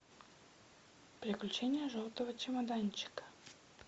приключения желтого чемоданчика